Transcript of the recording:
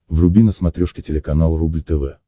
вруби на смотрешке телеканал рубль тв